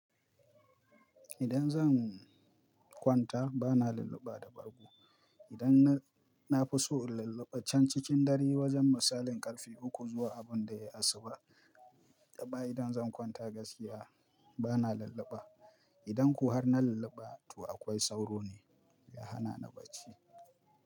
Idan zan kwanta bana lulluba da bargo. Idan na fi so lallaba can cikin dare wajen misalin karfe uku zuwa abin da ya asuba. Amma idan zan kwanta gaskiya bana lallaba. Idan ko har na lulluba to akwai sauro ne ya hana ni bacci.